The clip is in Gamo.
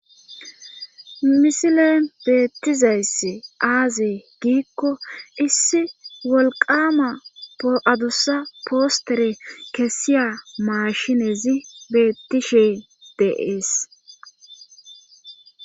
misilen beettizayssi aazee giikko issi wolqama adussa postere kesiya mashinezi beettishe de'ees